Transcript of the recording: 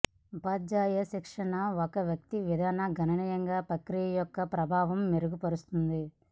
ఉపాధ్యాయ శిక్షణ ఒక వ్యక్తి విధానం గణనీయంగా ప్రక్రియ యొక్క ప్రభావం మెరుగుపరుస్తుంది